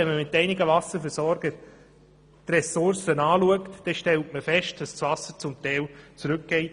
Wenn man mit einigen Wasserversorgern die Ressourcen ausschaut, dann stellt man fest, dass das Wasser teilweise zurückgeht.